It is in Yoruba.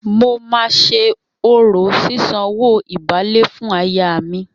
Mo máa ṣe orò sísanwó ìbálé fún aya mi.